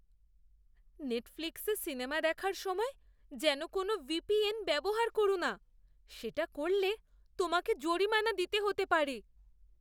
নেটফ্লিক্সে সিনেমা দেখার সময় যেন কোনও ভিপিএন ব্যবহার করো না। সেটা করলে তোমাকে জরিমানা দিতে হতে পারে।